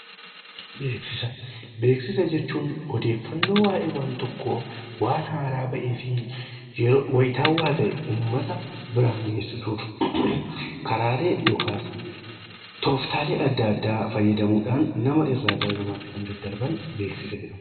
Beeksisa jechuun odeeffannoo waayee waan tokkoo waan haaraa bahee fi wayitawaa ta'e uummata biraan geessisuuf karaalee yookaas tooftaalee adda addaa fayyadamuudhaan nama irraa gara namaatti kan daddarban beeksisa jedhamu.